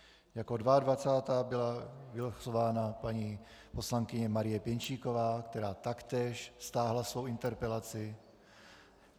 Jako 22. byla vylosována paní poslankyně Marie Pěnčíková, která taktéž stáhla svou interpelaci.